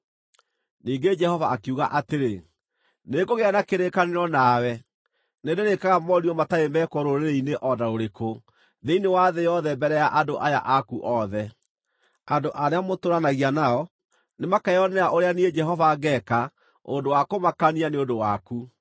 Ningĩ Jehova akiuga atĩrĩ, “Nĩngũgĩa na kĩrĩkanĩro nawe. Nĩndĩrĩĩkaga morirũ matarĩ mekwo rũrĩrĩ-inĩ o na rũrĩkũ thĩinĩ wa thĩ yothe mbere ya andũ aya aku othe. Andũ arĩa mũtũũranagia nao nĩmakeyonera ũrĩa niĩ, Jehova, ngeeka ũndũ wa kũmakania nĩ ũndũ waku.